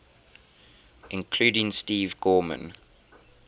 including steve gorman